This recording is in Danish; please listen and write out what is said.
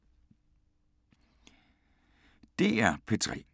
DR P3